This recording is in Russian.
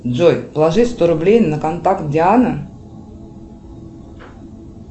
джой положи сто рублей на контакт диана